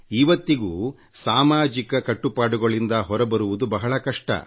ಇವತ್ತಿಗೂ ಸಾಮಾಜಿಕ ಕಟ್ಟುಪಾಡುಗಳಿಂದ ಹೊರಬರುವುದು ಬಹಳ ಕಷ್ಟ